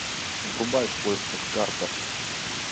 врубай в поисках картер